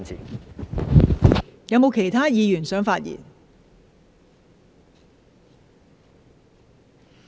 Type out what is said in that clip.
是否有其他議員想發言？